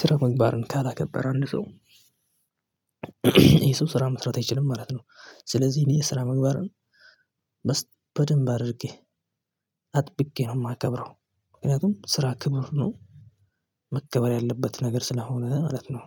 ስራ ምግባርን ካላከበረ አንድ ሰው። ይሄ ሰው ስራ መስራት አይችልም ማለት ነው። ስለዚህ እኔ የስራ ምግባርን በደንብ አድርጌ አጥብቄ ነው የማከብረው። ምክንያቱም ስራ ክቡር ነው። መከበር ያለበት ነገር ስለሆነ ማለት ነው።